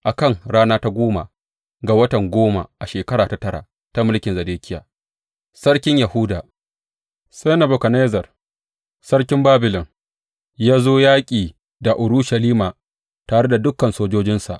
A kan rana ta goma ga watan goma, a shekara ta tara ta mulkin Zedekiya, Sarkin Yahuda, sai Nebukadnezzar, Sarkin Babilon, ya zo yaƙi da Urushalima tare da dukan sojojinsa.